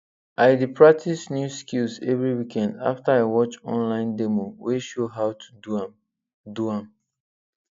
i dey practice new skills every weekend after i watch online demo wey show how to do am do am